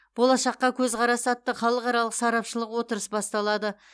болашаққа көзқарас атты халықаралық сарапшылық отырыс басталады